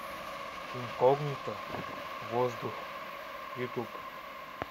инкогнито воздух ютуб